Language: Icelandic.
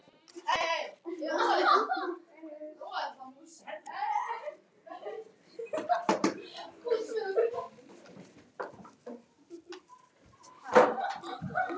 Hefur þú verið heimilislaus?